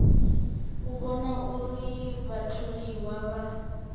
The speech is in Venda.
u vhona uri vhatholiwa vha